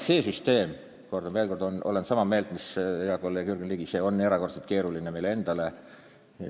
See süsteem on – kordan veel, olen siin ka sama meelt mis hea kolleeg Jürgen Ligi – erakordselt keeruline meile endale.